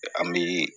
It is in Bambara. An bi